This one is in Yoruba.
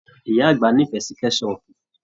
Ìyá àgbà n'ifẹ sí kẹsọpu.